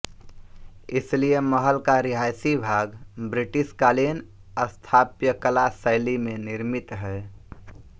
इसीलिए महल का रिहायशी भाग ब्रिटिशकालीन स्थापत्यकला शैली में निर्मित है